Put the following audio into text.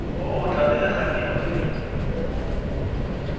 o o tla diragadiwa mme